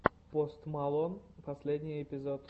пост малон последний эпизод